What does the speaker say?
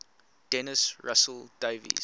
dennis russell davies